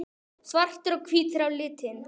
Svartir og hvítir á litinn.